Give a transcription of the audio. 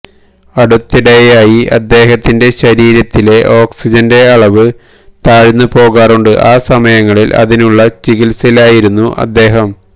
അടുത്തിടെയായി അദ്ദേഹത്തിന്റെ ശരീരത്തിലെ ഓക്സിജന്റെ അളവ് താഴ്ന്ന പോകാറുണ്ട് ആ സമയങ്ങളില് ഇതിനുള്ള ചികിത്സയിലായിരുന്നു അദ്ദേഹം